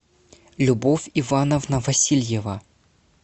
любовь ивановна васильева